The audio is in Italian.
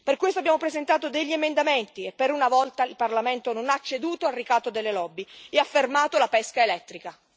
Per questo abbiamo presentato degli emendamenti e per una volta il Parlamento non ha ceduto al ricatto delle lobby e ha fermato la pesca elettrica.